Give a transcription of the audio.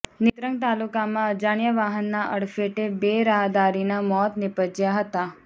નેત્રંગ તાલુકામાં અજાણ્યા વાહનના અડફ્ેટે બે રાહદારીના મોત નિપજ્યાં હતા